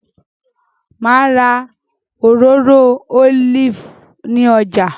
Ma ra òróró olive ni ọjà